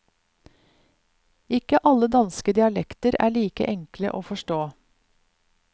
Ikke alle danske dialekter er like enkle å forstå.